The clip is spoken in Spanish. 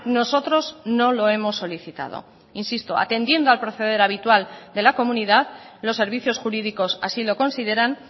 nosotros no lo hemos solicitado insisto atendiendo al proceder habitual de la comunidad los servicios jurídicos así lo consideran